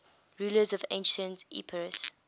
rulers of ancient epirus